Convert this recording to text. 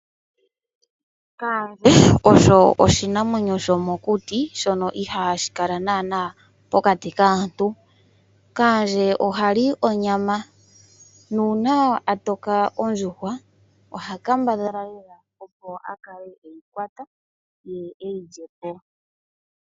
Kaandje osho oshinamwenyo shomokuti shono ihaashi kala naana pokati kaantu. Kaandje oha li onyama nuuna a toka ondjuhwa oha kambadhala lela opo a kale eyi kwata ye e yi lye po.